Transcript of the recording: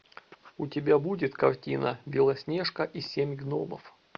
у тебя будет картина белоснежка и семь гномов